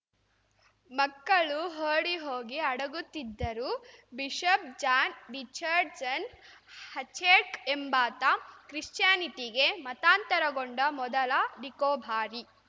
ಮಕ್ಕಳು ಓಡಿಹೋಗಿ ಅಡಗುತ್ತಿದ್ದರು ಬಿಷಪ್‌ ಜಾನ್‌ ರಿಚರ್ಡ್‌ಸನ್‌ ಹಚೆರ್ಕ್ ಎಂಬಾತ ಕ್ರಿಶ್ಚಿಯಾನಿಟಿಗೆ ಮತಾಂತರಗೊಂಡ ಮೊದಲ ನಿಕೋಬಾರಿ